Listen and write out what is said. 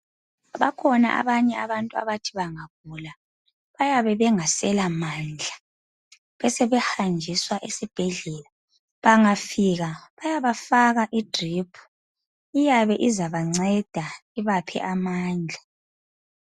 Bakhona abanye abantu abathi bangagula bayabe bengasela mandla, besebehanjiswa esibhedlela bangafika bayabafaka idriphu iyabe izabanceda ibaphe amandla.